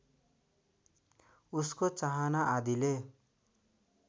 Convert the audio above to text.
उसको चाहना आदिले